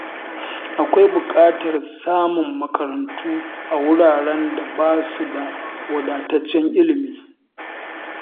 Akwai bukatar samun makarantu a wuraren da ba su da wadataccen ilimi.